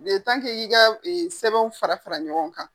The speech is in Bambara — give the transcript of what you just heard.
i y'i ka sɛbɛn fara fara ɲɔgɔn kan.